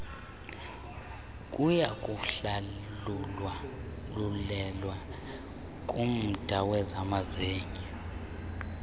kuyakuhlawulelwa kumda wezamazinyo